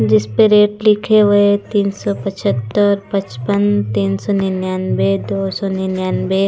जिस पे रेट लिखे हुए है तीन सों पछत्तर पचपन तीन सौ निन्यानवे दो सौ निन्यानवे--